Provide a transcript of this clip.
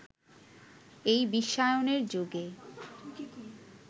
এই বিশ্বায়নের যুগে